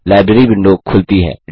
library window खुलती है